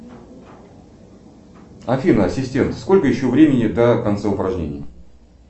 афина ассистент сколько еще времени до конца упражнений